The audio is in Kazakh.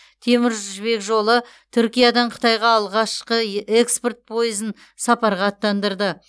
темір жібек жолы түркиядан қытайға алғашқы экспорт пойызын сапарға аттандырды